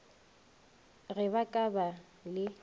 ge ba ka ba le